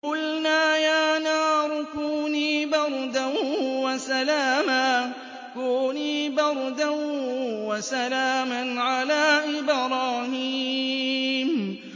قُلْنَا يَا نَارُ كُونِي بَرْدًا وَسَلَامًا عَلَىٰ إِبْرَاهِيمَ